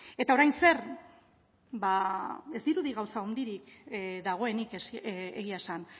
eta orain zer ba ez dirudi gauza handirik dagoenik egia esan